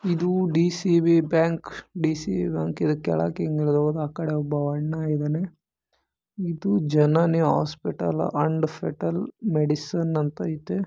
ಇದು DCB bank DCB bank ಕೆಳಗಡೆ ಒಬ್ಬ ಅಣ್ಣ ಇದ್ದಾನೆ ಇದು Janani hospital and foetal medicine ಅಂತ ಇದೆ.